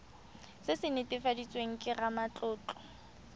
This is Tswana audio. se se netefaditsweng ke ramatlotlo